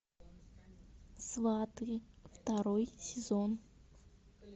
сваты второй сезон